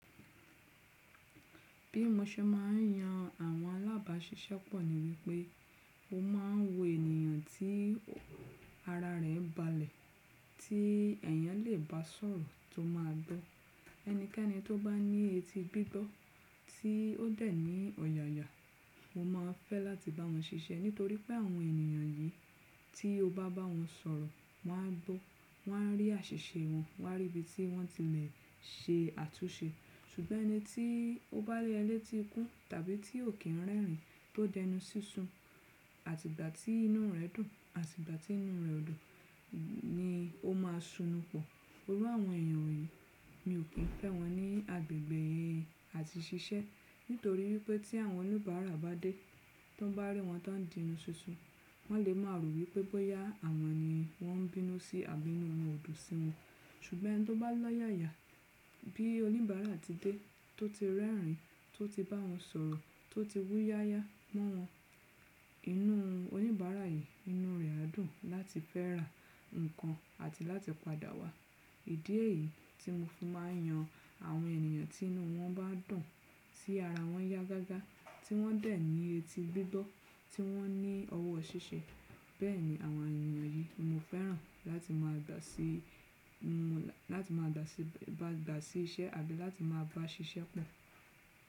Bí mo ṣe ma ń yan àwọn alábàáṣiṣẹ́pọ̀ ni wípé mó maa ń wo ènìyàn tí ara rẹ̀ balẹ̀, tí ẹ̀eyàn lè bá sọ̀rọ̀ tó máa gbọ́. Ẹnikẹ́ni tó bá ní etí gbígbọ́ tí ó dẹ̀ ní ọ̀yààyà, mo máa fẹ́ láti bá wọn ṣiṣẹ́ nítorí pé àwọn ènìyàn yìí tí o bá bá wọn sọ̀rọ̀, wọ́n á gbọ́, wọ́n á rí àṣìṣe wọn, wọ́n á rí ibi tí wọ́n ti lè ṣe àtúnṣe. Ṣùgbọ́n ẹni tí ó bá ní ẹlẹ́tí ikú tàbí tí ò kí n rẹ́rìn tó dẹnu sísun àti ìgbà tí inú rẹ̀ dùn àti ìgbà tí inú rẹ̀ ò dùn ni ó máa sunù pọ̀. Orú àwọn ènìyàn yìí mi ò kín fẹ́ wọn ní agbègbè àti ṣiṣẹ́ nítorí wípé tí àwọn oníbàárà bá dé tó bá rí wọn tó ń di inú sísun, wọ́n lè máa rò wípé bóyá àwọn ni wọ́n ń bínú sí àbí inú wọn ò dùn sí wọn. Ṣùgbọ́n ẹni tó bá lọ́yààyà bí oníbàárà ti dé tó ti rẹ́rìn tó ti bá wọn sọ̀rọ̀ tó ti wúyáyá mọ́ wọn, inú oníbàárà yìí inú rẹ̀ á dùn láti fẹ́ rà ǹnkan àti láti padà wá. Ìdí èyí tí mo fi ma ń yan àwọn ènìyàn tí inú wọn bá dùn tí ara wọn yá gágá tí wọ́n dẹ̀ ní etí gbígbọ́ tí wọ́n ní ọwọ́ ṣiṣẹ́. Bẹ́ẹ̀ ni àwọn ènìyàn yìí mo fẹ́ràn láti máa gbà sí i la, láti ma gbà sí bá, bá gbà sí iṣẹ́, àbí láti máa bá ṣiṣẹ́ pọ̀.